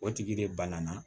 O tigi de bana na